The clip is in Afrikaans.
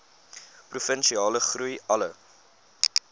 provinsiale groei alle